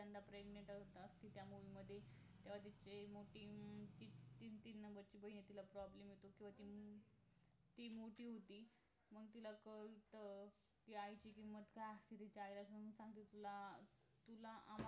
चौथ्यांदा pregnant असते त्या movie मध्ये तेव्हा तुझी ती ती तीन number ची बहीण आहे तिला problem येतो अं ती मोठी होती मग तिला क अं त्या आईची किंमत काय असते त्यावेळेस तिला आरामची